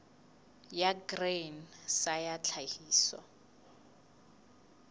ya grain sa ya tlhahiso